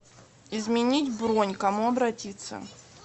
изменить бронь к кому обратиться